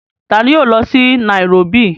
Taani yóò lọ sí nairóbì?